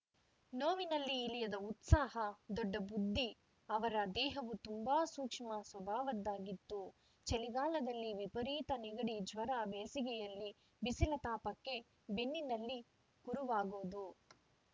ನೋವಿನಲ್ಲಿ ಇಳಿಯದ ಉತ್ಸಾಹ ದೊಡ್ಡ ಬುದ್ಧಿ ಅವರ ದೇಹವು ತುಂಬಾ ಸೂಕ್ಷ್ಮ ಸ್ವಭಾವದ್ದಾಗಿತ್ತು ಚಳಿಗಾಲದಲ್ಲಿ ವಿಪರೀತ ನೆಗಡಿ ಜ್ವರ ಬೇಸಿಗೆಯಲ್ಲಿ ಬಿಸಿಲ ತಾಪಕ್ಕೆ ಬೆನ್ನಿನಲ್ಲಿ ಕುರವಾಗೋದು